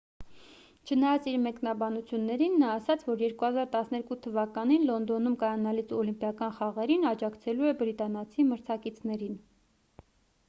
չնայած իր մեկնաբանություններին նա ասաց որ 2012 թվականին լոնդոնում կայանալիք օլիմպիական խաղերին աջակցելու է բրիտանացի մրցակիցներին